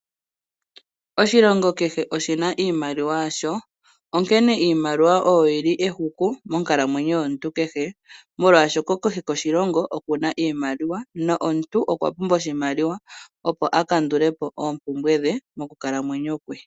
Oshilongo kehe oshina iimaliwa yasho onkene iimaliwa oyo yi li ehuku monkalamweyo yomu tu kehe. Molwashoka kehe koshilongo okuna iimaliwa na omuntu okwa pumbwa oshimaliwa opo a kandulepo oompumbwe dhe mokukalamweyo kwe.